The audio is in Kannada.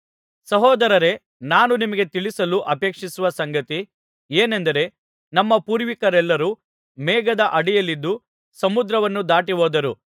ಸಹೋದರರೇ ನಾನು ನಿಮಗೆ ತಿಳಿಸಲು ಅಪೇಕ್ಷಿಸುವ ಸಂಗತಿ ಏನೆಂದರೆ ನಮ್ಮ ಪೂರ್ವಿಕರೆಲ್ಲರೂ ಮೇಘದ ಅಡಿಯಲ್ಲಿದ್ದು ಸಮುದ್ರವನ್ನು ದಾಟಿಹೋದರು